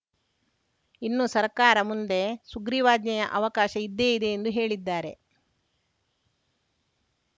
ಇನ್ನು ಸರ್ಕಾರ ಮುಂದೆ ಸುಗ್ರೀವಾಜ್ಞೆಯ ಅವಕಾಶ ಇದ್ದೇ ಇದೆ ಎಂದು ಹೇಳಿದ್ದಾರೆ